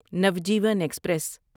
Navjeevan express